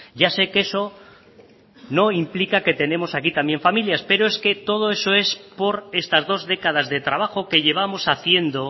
ya sé que esono implica que tenemos también aquí familias pero es que todo eso es por estas dos décadas de trabajo que llevamos haciendo